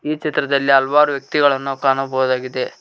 ಈ ಚಿತ್ರದಲ್ಲಿ ಹಲವಾರು ವ್ಯಕ್ತಿಗಳನ್ನು ನಾವು ಕಾಣಬಹುದಾಗಿದೆ.